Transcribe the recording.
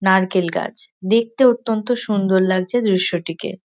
নারকেল গাছ দেখতে অত্যন্ত সুন্দর লাগছে দৃশ্যটিকে।